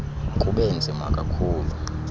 kube nzima kakhulu